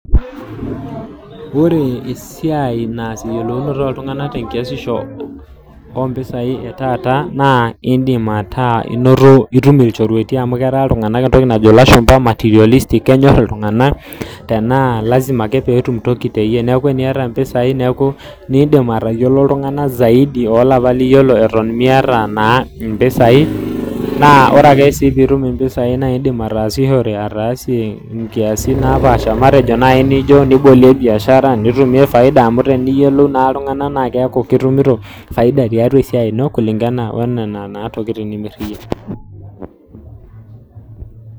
Wore esiai naas eyiolounoto oltunganak tenkiasisho oompisai etaata naa indim ataa inoto itum ilchorueti amu ketaa iltunganak entoki najo ilashumba materialistic kenyor iltunganak tenaa lasima ake peetum toki teyie. Neeku teniata impisai neeku niindim aatayiolo iltunganak zaidi oolapa liyiolo eton miyata naa impisai, naa wore ake sii piitum impisai naa iindim aataasishore ataasie inkiasin naapaasha matejo naai nijo nibolie biashara, nitumie faida amu teniyielou naa iltunganak naa keaku itumito faida tiatua esiai ino kulingana oniana naa tokitin nimirr iyie.